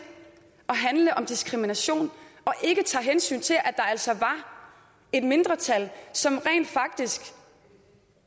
at handle om diskrimination og ikke tager hensyn til at der altså var et mindretal som rent faktisk